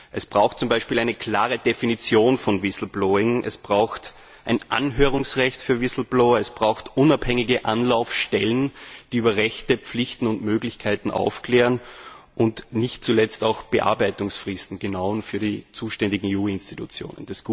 Es braucht zum Beispiel eine klare Definition von Whistleblowing, es braucht ein Anhörungsrecht für Whistleblower, es braucht unabhängige Anlaufstellen, die über Rechte, Pflichten und Möglichkeiten aufklären, und nicht zuletzt auch genaue Bearbeitungsfristen für die zuständigen EU Institutionen.